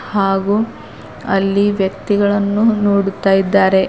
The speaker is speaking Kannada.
ಹಾಗು ಅಲ್ಲಿ ವ್ಯಕ್ತಿಗಳನ್ನು ನೋಡುತ್ತಾ ಇದ್ದಾರೆ.